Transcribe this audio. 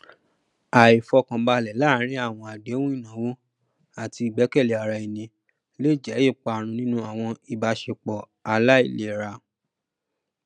àìfọkànbalẹ láàárín àwọn àdéhùn ináwó àti ìgbẹkẹlé ara ẹni lè jẹ iparun nínú àwọn ìbáṣepọ aláìlera